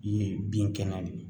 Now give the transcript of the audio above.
Ye bin kɛnɛ de ye